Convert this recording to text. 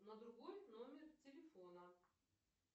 на другой номер телефона